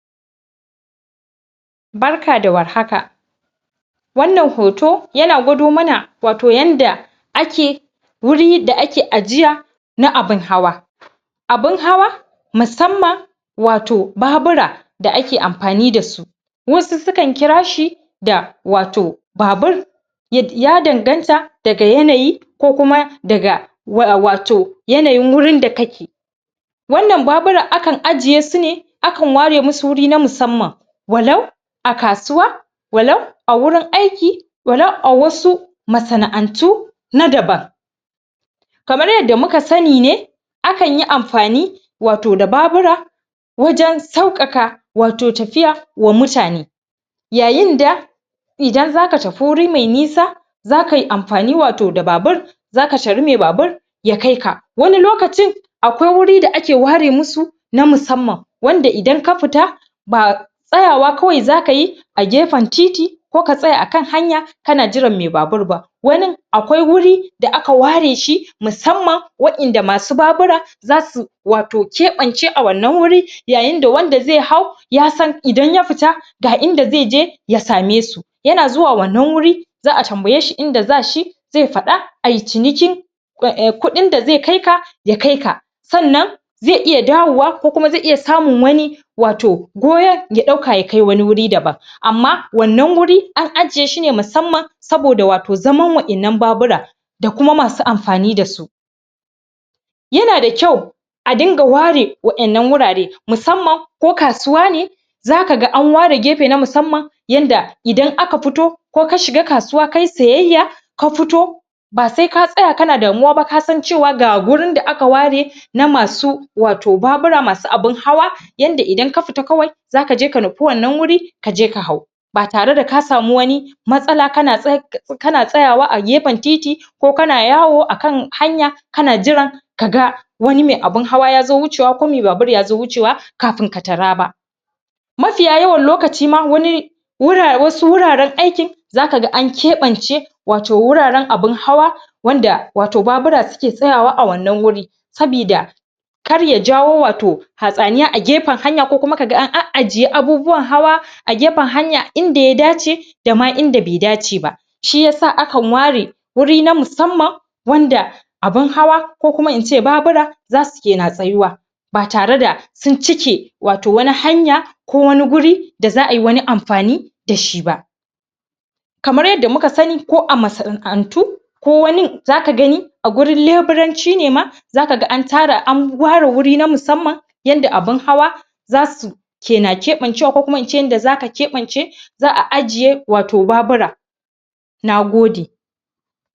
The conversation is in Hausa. barka da warhaka wannan hoto wato yana dwado mana yadda ake wuri da ake ajiya na abun hawa abun hawa musamman watto babura da ake amfani da su wasu sukan kira shi da wato babur ya danganta daga yanayi ko kuma daga wato yanayin da wurin da kake wa'yannan baburan akan ajjiye sun\ ne akan ware musu wuri na musamman walau walau a kasuwa walau a wurin ayki walau a wasu masana antu na daban kamar yadda muka sani ne akan yi amfani wato da babura wa jan saukaka wato tafiya wa muta ne ya yinda idan za ka tafi wuri mai nisa za kai amfani wato da babur za ka tari mai babur ya kaika wani lokacin wani lokaci a kwai wuri da ake ware masu na musamman wanda idan ka fita ba tsayawa kawai za ka yi a gefan titi ko ka tsya a kan hanya kana jiran mai babur ba wani akwai wuri da aka ware shi musamman wa'ayanda masu babura za su wato kebance a wannan wuri yayin da wanda zai hau ya san idan ya fita ga inda zai je ya samai su yana zuwa wannan wuri za a tambaye shi inda za shi zai fada ay ciniki kudin da zai kaika ya kaika sanana sannan zai iya dawowa ko kuma zai iiya samun wanii wato goyan ya kai wani wuri daban amma wannan wuri an ajjiye shi ne na musamman saboda wato za man wa'ayannan babura da kuma masu amfani da su yana da kyau a dunga ware wa'yannan wurare musamman ko kasuwa ne za kaga an ware gefe na musamman yadda idan aka fito ko ka shiga kasuwa kai sayayya ka futo ba sai ka tsaya kana damuwa ba ka san cewa ga wurin da aka ware na masu wato babura masu abun hawa yadda idan ka fita kawai za kaje ka nufi wannan wuri ka je ja hau ba tare da ka samu wani matsaala kana kana tsayawa a gefan titi ko kana yawo a kan hanya kana jiran kada wani mai abun hawa ya zo wucewa ko mai babur ya zo wucewa kafin ka taraba mafiya yawan lokaci ma wani wasu wuraren aykin za kaga an keban ce wuraren abun hawa wanda babura suke tsayawa a wannan wuri sabida kar ya jawao wato hatsaniya a gefan hanya ko kaga an ajjiye abun hawa agefan hanya inda ya dace idama inda bai daceba shi yasa akan ware wuri na musamman wanda abun hawa ko kuma ince babura za suke na tsayuwa ba tare da sun cike wato wani hanya ko wani wuri da za ayi wani amfani da shi ba kamar yadda muka sani ko a masana'antu ko wani za ka gani a wurin lebiranci ne ma za kaga an ware wuri ne na musamman yadda abun hawa za su na kena keban cewa ko kuma ince yadda za ka kebance za a ajjiye babura na gode